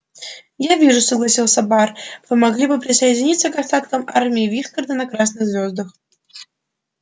я вижу согласился бар вы могли бы присоединиться к остаткам армии вискарда на красных звёздах